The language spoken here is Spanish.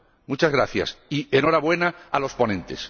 Muchas gracias y enhorabuena a los ponentes.